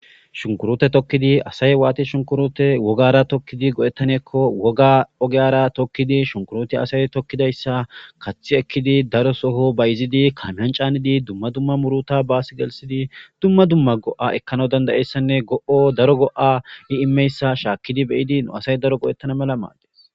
shunkurote tokkidi asay waati shunkurote wogara tokkidi go7ettaneekko woga ogeyara tokkidi shunkurote asay tokkidayssa kaththi ekkidi daro soho bayizidi kamyan caanidi dumma dumma muruta baas gelsidi dumma dumma go7a ekkana dandayessanne go7o daro go7a i immeyssa shaakkidi beyidi nu asay daro go7ettana mela maadde